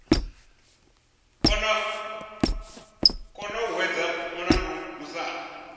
kona u hwedza mulandu musanda